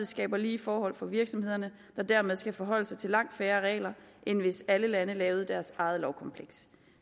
skaber lige forhold for virksomhederne der dermed skal forholde sig til langt færre regler end hvis alle lande lavede deres eget lovkompleks